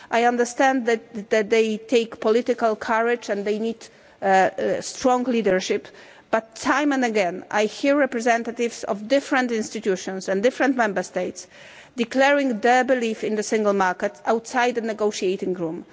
I understand that they take political courage and they need strong leadership, but time and again, I hear representatives of different institutions and different Member States declaring their belief in the Single Market outside the negotiating room.